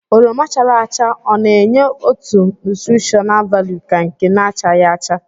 oroma chara acha o na-enye otu nútrishóná válú ka nke na-achaghi acha